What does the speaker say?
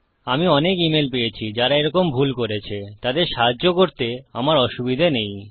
আমি অনেক ইমেল পেয়েছি যারা এরকম ভুল করেছে তাদের সাহায্য করতে আমার অসুবিধা নেই